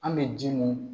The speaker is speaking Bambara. An bɛ ji min